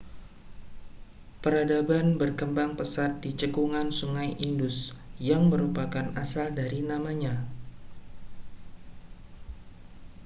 peradaban berkembang pesat di cekungan sungai indus yang merupakan asal dari namanya